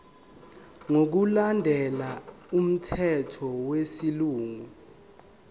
ngokulandela umthetho wesilungu